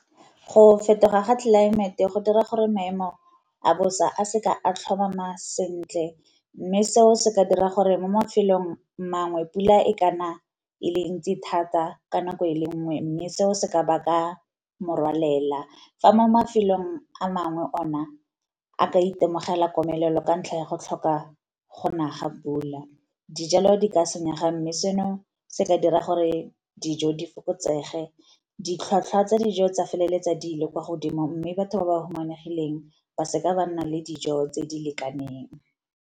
Go fetoga ga tlelaemete go dira gore maemo a bosa a seka a tlhomama sentle, mme seo se ka dira gore mo mafelong a mangwe pula e ka na e le ntsi thata ka nako e le nngwe mme seo se ka ba ka morwalela. Fa mo mafelong a mangwe ona a ka itemogela komelelo ka ntlha ya go tlhoka go na ga pula, dijalo di ka senyega. Mme seno se ka dira gore dijo di fokotsege ditlhwatlhwa tsa dijo tsa feleletsa dilo kwa godimo, mme batho ba ba humanegileng ba seka ba nna le dijo tse di lekaneng.